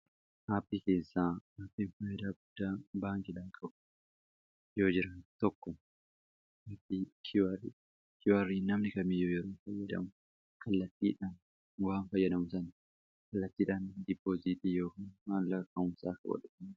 Aappii keessaa Aappiii faayidaa guddaa baankiidhaaf qabu yoo jira. Tokko koodii QR dha. QR namni kamiiyyuu yeroo fayyadamu kallattiidhaan waan fayyadamu sana kallattiidhaan ''dippooziitii'' yookaan waan maamila isaaf qoodudha.